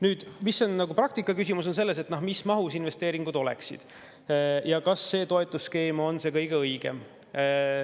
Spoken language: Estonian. Nüüd, praktikas on küsimus selles, mis mahus investeeringud oleksid ja kas see toetusskeem on see kõige õigem.